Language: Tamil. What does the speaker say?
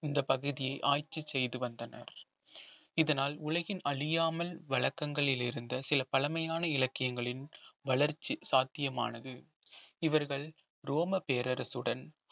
இந்த பகுதியை ஆட்சி செய்து வந்தனர் இதனால் உலகின் அழியாமல் வழக்கங்களில் இருந்த சில பழமையான இலக்கியங்களின் வளர்ச்சி சாத்தியமானது இவர்கள் ரோம பேரரசுடன்